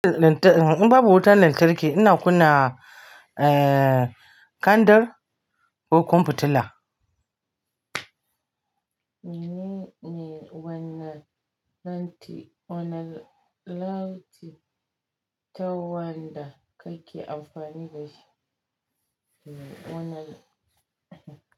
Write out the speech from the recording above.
In babu wutan lantarki, ina kunna, eh, kandar ko kumfutila. Wanne lanti, wanne lanti tawada kake amfani dashi? Wanne?